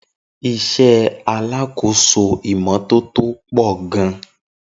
Isé alákòóso ìmò tótó po gan